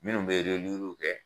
Minnu bɛ kɛ.